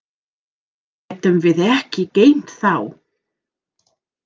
Hér getum við ekki geymt þá.